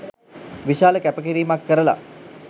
විශාල කැපකිරීමක් කරල